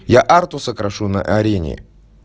я артуса крашу на арене